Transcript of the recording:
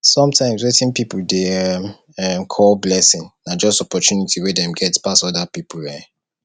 sometimes wetin pipo dey um um call blessing na just opportunity wey dem get pass oda pipo um